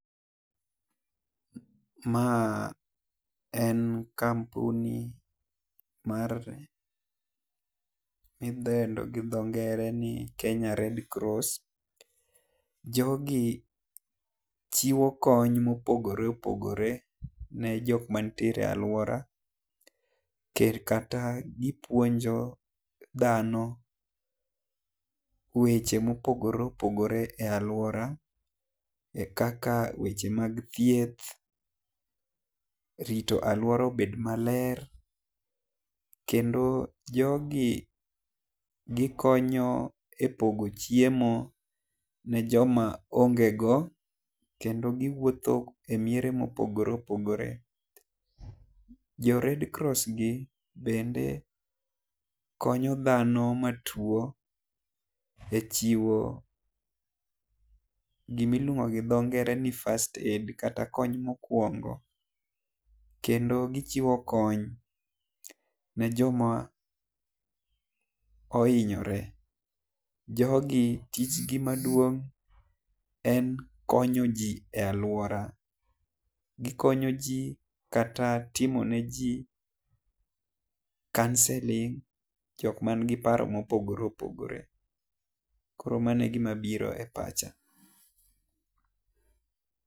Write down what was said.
Ma en kampuni mar mi idendo gi dho nngere ni Kenya red cross, jo gi chiwo kony ma opogore opogore ne jok ma nitiere aluora nikech kata gi puonjo dhano weche ma opogore opogore e aluora kaka weche mag thieth, rito aluora obed ma ler. Kendo jogi gi konyo e pogo chiemo ne jo ma onge go. Kendo gi wuotho e miere ma opogore opogore. Jo redcross gi bende be konyo dhano ma tuo e chiwo gi ma iluongo ni first aid go dho ngere kata kony ma okuongo. Kendo gi chiwo kony ne jo ma oinyore jogi gik gi maduong en konyo ji e aluora. Gi konyo ji kata timo ne ji counselling jok man gi paro ma opogore opogore. koro mano e gi ma biro e pacha.